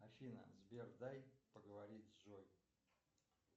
афина сбер дай поговорить с джой